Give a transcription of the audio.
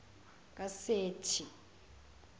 kaseti